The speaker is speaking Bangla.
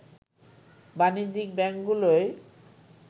বাণিজ্যিক ব্যাংকগুলোয়